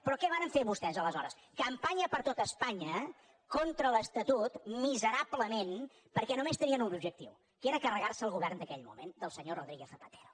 però què varen fer vostès aleshores campanya per tot espanya contra l’estatut miserablement perquè només tenien un objectiu que era carregar se el govern d’aquell moment del senyor rodríguez zapatero